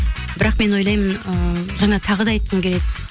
бірақ мен ойлаймын ы жаңа тағы да айтқым келеді